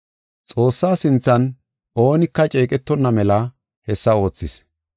Xoossa sinthan oonika ceeqetonna mela hessa oothis.